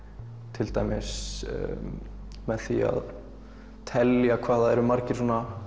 til dæmis með því að telja hvað það eru margir